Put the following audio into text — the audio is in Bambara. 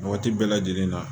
Waati bɛɛ lajɛlen na